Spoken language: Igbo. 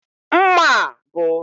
Mma a bụ